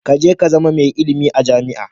Ka je ka zama mai ilimi a jami'a.